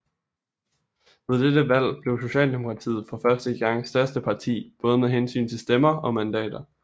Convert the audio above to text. Ved dette valg blev Socialdemokratiet for første gang største parti både med hensyn til stemmer og mandater